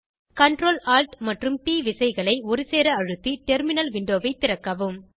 Ctrl Alt மற்றும் T விசைகளை ஒருசேர அழுத்தி டெர்மினல் விண்டோவை திறக்கவும்